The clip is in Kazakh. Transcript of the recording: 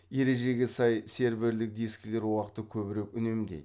ережеге сай серверлік дискілер уақытты көбірек үнемдейді